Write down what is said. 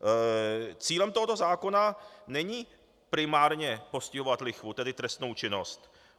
Cílem tohoto zákona není primárně postihovat lichvu, tedy trestnou činnost.